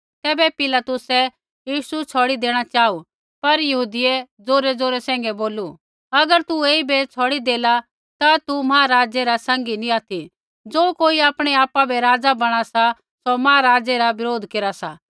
तैबै पिलातुसै यीशु छ़ौड़ी देणा चाहू पर यहूदियै ज़ोरैज़ोरै सैंघै बोलू अगर तू ऐईबै छ़ौड़ी देला ता तू महाराज़ै रा सैंघी नी ऑथि ज़ो कोई आपणै आपा बै राज़ा बणा सा सौ महाराज़ै रा बरोध केरा सा